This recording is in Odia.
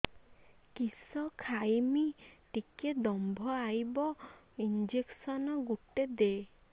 କିସ ଖାଇମି ଟିକେ ଦମ୍ଭ ଆଇବ ଇଞ୍ଜେକସନ ଗୁଟେ ଦେ